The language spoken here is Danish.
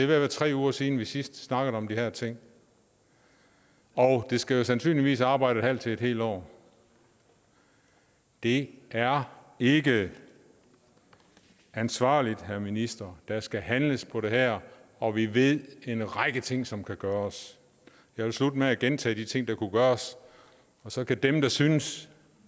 være tre uger siden vi sidst snakkede om de her ting og det skal jo sandsynligvis arbejde et halvt til et helt år det er ikke ansvarligt herre minister der skal handles på det her og vi ved en række ting som kan gøres jeg vil slutte med at gentage de ting der kunne gøres og så kan dem der synes